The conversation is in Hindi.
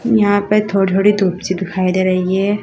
यहां पर थोड़ी थोड़ी धूप सी दिखाई दे रही है।